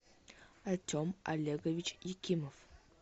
артем олегович якимов